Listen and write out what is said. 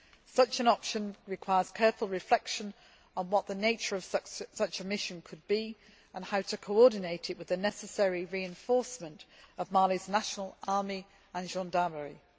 Such an option requires careful reflection on what the nature of such a mission should be and how to coordinate it with the necessary reinforcement of Mali's national army and gendarmerie.